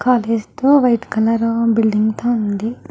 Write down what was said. White colour building తో ఉంది.